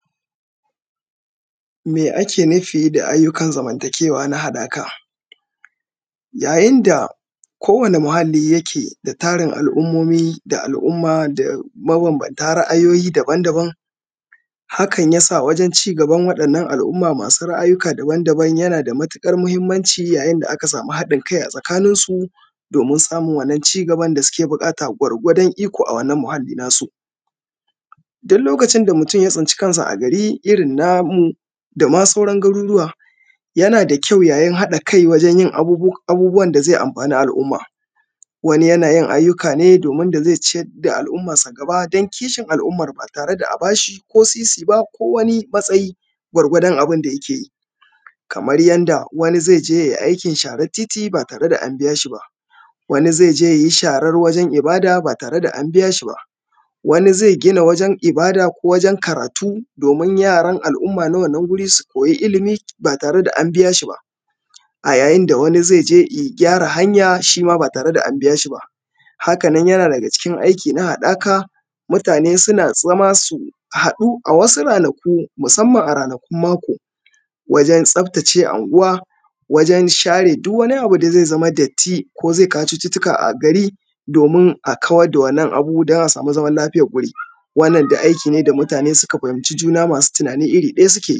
Me ake nufi da ayyukan zamantakewa na haɗaka yayin da kowanne muhalli yake da tarin al'umomi da tarin al'umma mabambanta ra'ayoyi daban-daban hakan ya sa wajen ci gaban waɗannan al'umma masu ra'ayoyi daban-daban yana da mahimmanci Yayin da aka sama haɗin kai a tsakaninsu domin samun wannan ci gaban da ake bukata a wannan muhalli nasu. Duk lokacin da mutum ya tsinci garin irin namu da ma sauran garuruwa. Yana da ƙyau yayin haɗa kai wajen abubuwan da zai amfani al'umma wani yana yin ayyuka ne wani yanayin yadda zai ciyar da al'umarsa don koshin al'ummar ba tare da bashi ko sisi fa ba ko wani matsayi gwargwadon abin da yake yi, kamar yadda wani zai je ya yi aikin sharar titi ba tare da an biya shi ba wani zai je ya yi sharar wanjen ibada ba tare da an biya shi ba wani zai gina wajen ibada ko karatu domin yaran al'umma na wannan wuri su koyi ilimi ba tare da an biya shi ba. A yayin da wani zai je ya gyara hanya ba tare da an biya shi ba. Haka nan yana daga cikin aiki na haɗaka mutane suna zama su haɗu a wasu ranaku musamman a ranakun mako wajen tsaftace anguwa wajen share duk wani abu da zai zama datti idan ba share ba domin a kawar da wannan abu a sama Lafiya wuri wannan dai aiki ne da mutane suka fahimci juna masu tanani iri ɗaya suke